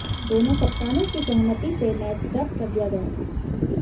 दोनों कप्तानों की सहमति से मैच रद्द कर दिया गया था